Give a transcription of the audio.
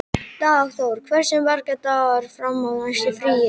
Dagþór, hversu margir dagar fram að næsta fríi?